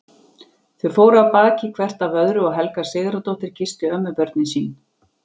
Þau fóru af baki hvert af öðru og Helga Sigurðardóttir kyssti ömmubörnin sín.